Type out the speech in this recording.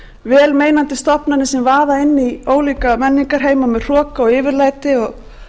vel meinandi stofnanir sem vaða inn í ólíka menningarheima með hroka og yfirlæti og ætla sér að